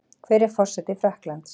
Hver er forseti Frakklands?